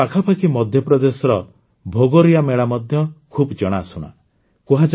ସେଇ ପାଖାପାଖି ମଧ୍ୟପ୍ରଦେଶର ଭଗୋରିୟା ମେଳା ମଧ୍ୟ ଖୁବ୍ ଜଣାଶୁଣା